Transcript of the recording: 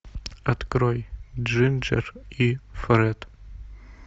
открой джинджер и фред